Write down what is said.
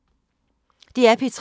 DR P3